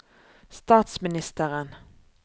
statsministeren